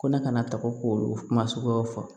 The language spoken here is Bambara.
Ko ne kana taa ko kuma sugu fɔ